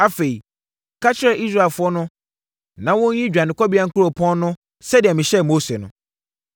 “Afei, ka kyerɛ Israelfoɔ no na wɔnyiyi dwanekɔbea nkuropɔn no sɛdeɛ mehyɛɛ Mose no.